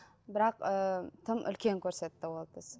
бірақ ы тым үлкен көрсетті ол түс